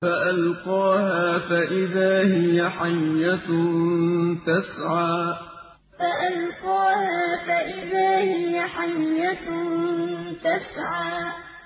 فَأَلْقَاهَا فَإِذَا هِيَ حَيَّةٌ تَسْعَىٰ فَأَلْقَاهَا فَإِذَا هِيَ حَيَّةٌ تَسْعَىٰ